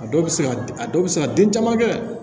A dɔw bɛ se ka a dɔw bɛ se ka den caman kɛ